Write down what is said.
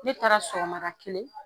Ne taara sɔgɔmada kelen